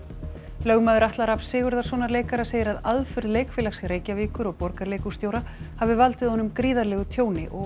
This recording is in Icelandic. lögmaður Atla Rafns Sigurðarsonar leikara segir að aðför Leikfélags Reykjavíkur og Borgarleikhússtjóra hafi valdið honum gríðarlegu tjóni og